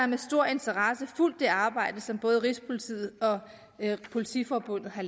med stor interesse fulgt det arbejde som både rigspolitiet og politiforbundet har